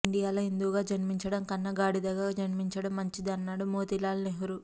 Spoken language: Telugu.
ఇండియాలో హిందువుగా జన్మించడం కన్నా గాడిదగా జన్మించడం మంచిది అన్నాడు మోతీలాల్ నెహ్రూ